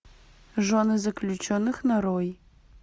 жены заключенных нарой